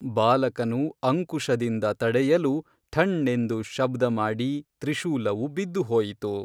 ಬಾಲಕನು ಅಂಕುಶದಿಂದ ತಡೆಯಲು ಠಣ್ಣೆಂದು ಶಬ್ದಮಾಡಿ ತ್ರಿಶೂಲವು ಬಿದ್ದು ಹೋಯಿತು